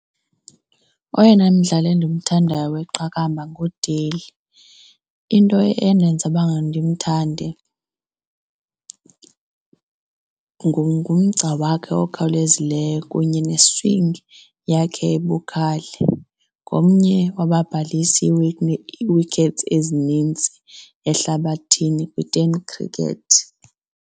Oyena mdlali endimthandayo weqakamba nguDale. Into endenza uba ndimthande ngumgca wakhe okhawulezileyo kunye ne-swing yakhe ebukhali. Ngomnye wababhalisi ii-wickets ezinintsi ehlabathini kwiTen Cricket.